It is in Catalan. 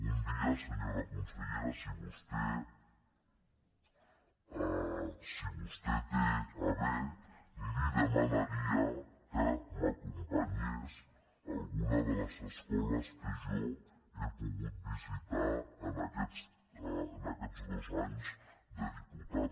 un dia senyora consellera si vostè ho té a bé li demanaria que m’acompanyés a alguna de les escoles que jo he pogut visitar en aquests dos anys de diputat